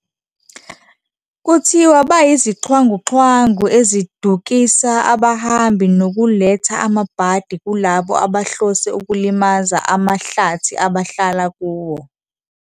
Kuthiwa bayizixhwanguxhwangu ezidukisa abahambi nokuletha amabhadi kulabo abahlose ukulimaza amahlathi abahlala kuwo.